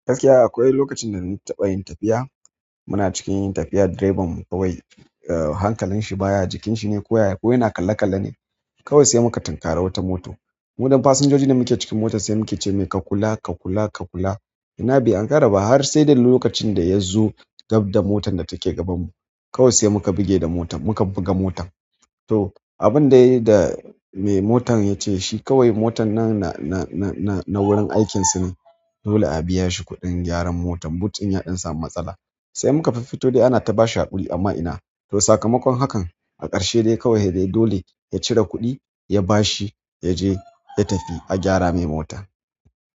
Gaskiya akwai lokacin da na taɓa yin tafiya. Muna cikin tafiya drivern kawai, hankalin shi baya jikin shi ne ko ya, ko yana kalle-kalle ne. Kawai sai muka tinkara wata mota. Mu ɗan fasinjoji da muke cikin mota sai muke ce mai ka kula, ka kula, ka kula. Ina! Bai ankara ba har sai da lokacin da yazo gab da motan da take gabanmu. Kawai sai muka buge da motar muka buga motan. To abindai da mai motan yace shi kawai motan na-na-na-na-na wurin aikin su ne. Dole a biya shi kuɗin gyaran motan. Boot ɗin ya ɗan samu matsala. Sai muka fiffito dai ana ta bashi haƙuri amma ina. Toh sakamakon hakan, a ƙarshe dai kawai dai dole ya cire kuɗi, ya bashi, ya je ya tafi a gyara mai mota.